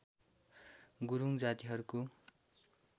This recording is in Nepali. गुरूङ जातिहरूको